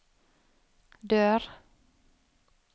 dør